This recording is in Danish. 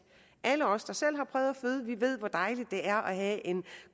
alle os der selv har prøvet at føde ved hvor dejligt det er at have en